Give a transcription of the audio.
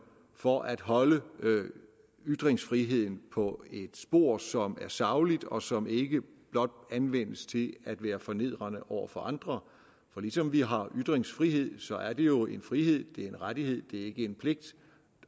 for at holde ytringsfriheden på et spor som er sagligt og som ikke blot anvendes til at være fornedrende over for andre for ligesom vi har ytringsfrihed så er det jo en frihed det er en rettighed det ikke en pligt